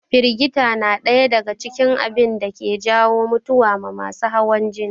Firgita na ɗaya daga cikin abunda ke jawo mutuwa ma masu hawan jini